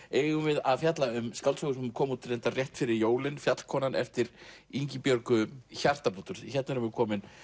eigum við að fjalla um skáldsögu sem kom út reyndar rétt fyrir jólin Fjallkonan eftir Ingibjörgu Hjartardóttur hérna erum við komin